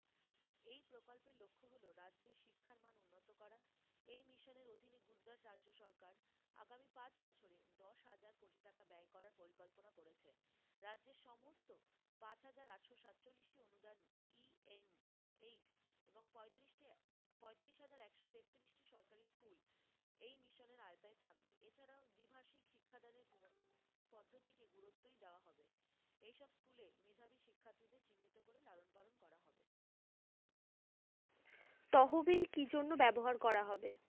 তহবিল কি জন্য ব্যবহার করা হবে।